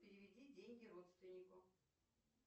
переведи деньги родственнику